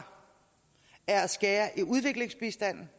er at skære i udviklingsbistanden